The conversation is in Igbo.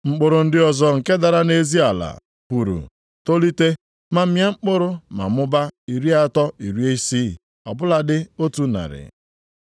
Mkpụrụ ndị ọzọ nke dara nʼezi ala, puru, tolite, ma mịa mkpụrụ na mmụba iri atọ, iri isii, ọ bụladị otu narị.”